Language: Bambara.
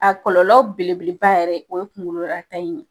A kɔlɔlɔ belebele ba yɛrɛ o ye kunkololata in ye